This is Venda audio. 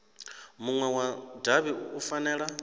munwe wa davhi u fanela